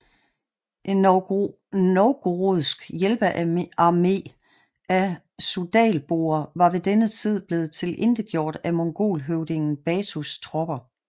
En novgorodsk hjælpearmé af suzdalboer var ved denne tid blevet tilintetgjort af mongolhøvdingen Batus tropper